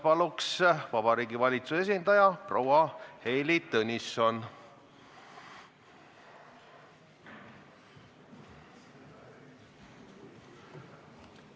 Palun, Vabariigi Valitsuse esindaja proua Heili Tõnisson!